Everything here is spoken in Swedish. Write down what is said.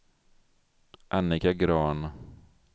Annika Grahn